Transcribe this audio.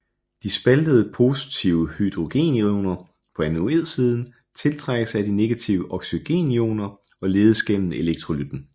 De spaltede positive hydrogenioner på anodesiden tiltrækkes af de negative oxygenioner og ledes igennem elektrolytten